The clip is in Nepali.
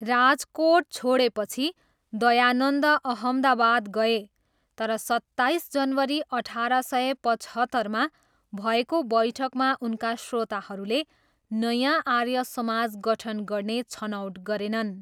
राजकोट छोडेपछि दयानन्द अहमदाबाद गए, तर सत्ताइस जनवरी अठार सय पचहत्तरमा भएको बैठकमा उनका श्रोताहरूले नयाँ आर्य समाज गठन गर्ने छनौट गरेनन्।